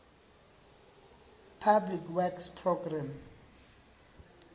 public works programme